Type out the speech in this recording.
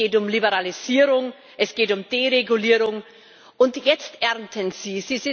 Es geht um Liberalisierung, es geht um Deregulierung, und jetzt ernten Sie.